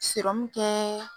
tɛ .